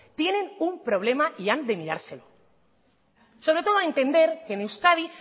tienen un problema y han de mirárselo sobre todo da entender que en euskadi